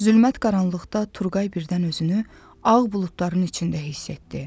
Zülmət qaranlıqda Turqay birdən özünü ağ buludların içində hiss etdi.